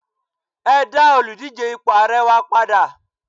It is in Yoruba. e da Oludije ipo ààrẹ wa pada